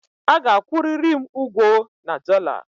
A ga-akwụ riri'm ugwo na dollar!